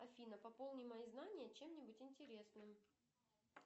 афина пополни мои знания чем нибудь интересным